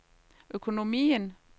økonomien